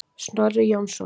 Snorri Jónsson.